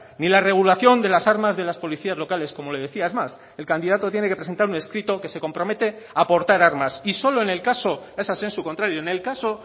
ni la regulación de las armas de las policías locales como le decía es más el candidato tiene que presentar un escrito que se compromete a aportar armas y solo en el caso es a sensu contrario en el caso